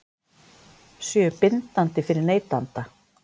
Séu bindandi fyrir neytanda?